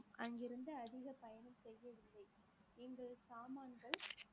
அங்கிருந்து அதிக பயணம் செய்திருக்கிறேன்